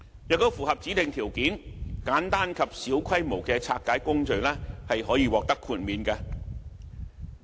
如果符合指定條件，簡單及小規模的拆解工序可獲得豁免。